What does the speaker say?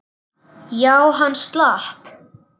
Já, hann slapp.